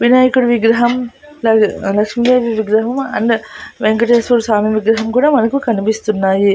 వినాయకుడు విగ్రహం లా లక్ష్మీదేవి విగ్రహం అండ్ వెంకటేశ్వర స్వామి విగ్రహం కూడా మనకు కనిపిస్తున్నాయి.